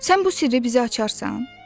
Sən bu sirri bizə açarsan?